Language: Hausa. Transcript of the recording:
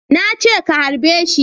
Na ce ka harbe shi